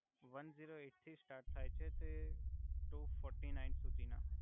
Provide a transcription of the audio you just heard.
one zero eight થી start થાય છે તે ટુ ફોર્ટિ નાઇન સુધી ના